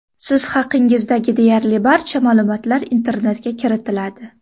Siz haqingizdagi deyarli barcha ma’lumotlar internetga kiritiladi.